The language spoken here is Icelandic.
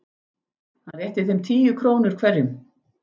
Hann rétti þeim tíu krónur hverjum.